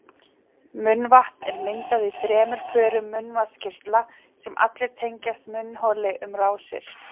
Munnvatn er myndað í þremur pörum munnvatnskirtla sem allir tengjast munnholi um rásir.